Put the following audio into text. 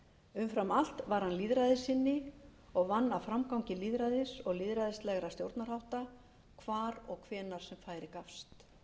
umfram allt var hann lýðræðissinni og vann að framgangi lýðræðis og lýðræðislegra stjórnarhátta hvar og hvenær sem færi gafst ég bið þingheim